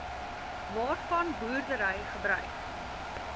waarvan boerdery gebruik